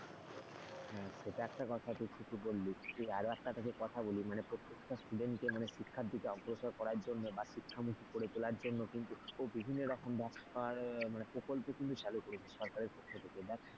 এটা একটা কথা তুই ঠিকই বললি আরো একটা কথা বলি মানে প্রত্যেকটা student কে মানে শিক্ষা অগ্রসর করার জন্য বা শিক্ষামুখী করে তোলার জন্য কিন্তু বিভিন্ন রকম প্রকল্প কিন্তু চালু করেছে সরকারের পক্ষ থেকে,